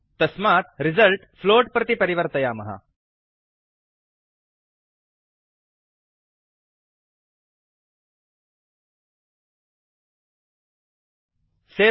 तस्मात् result result float float प्रति परिवर्तयामः